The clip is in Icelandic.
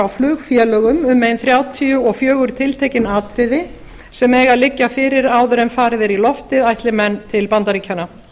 flugfélögum um ein þrjátíu og fjögur tiltekin atriði sem eiga að liggja fyrir áður en farið er í loftið ætli menn til bandaríkjanna